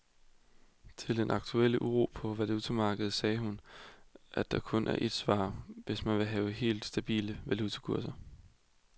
Til den aktuelle uro på valutamarkedet sagde hun, at der kun er et svar, hvis man vil have helt stabile valutakurser.